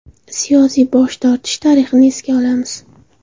Siyosiy bosh tortish tarixini esga olamiz.